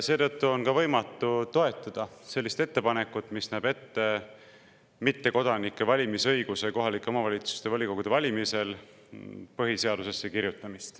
Seetõttu on ka võimatu toetada sellist ettepanekut, mis näeb ette kirjutada põhiseadusesse mittekodanike valimisõigus kohaliku omavalitsuse volikogu valimisel.